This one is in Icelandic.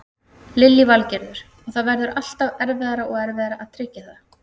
Lillý Valgerður: Og það verður alltaf erfiðara og erfiðara að tryggja það?